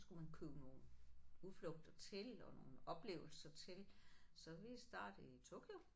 Så kunne man købe nogle udflugter til og nogle oplevelser til så vi startede i Tokyo